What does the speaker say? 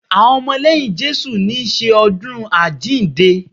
Àwọn ọmọ lẹ́yìn Jésù ń ṣe ọdún àjíǹde